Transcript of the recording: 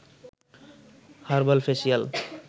herbal facial